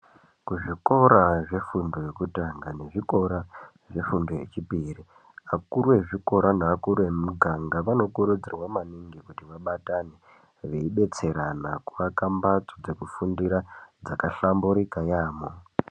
Kuzvikora zvefundo yekutanga nekuzvikora zvefundo yechipiri. Akuru ezvikora neakuru emumuganga anokurudzirwa maningi kuti abatane. Veibetserana kuvaka mbatso dzekufundira dzakahlamburika yaambo.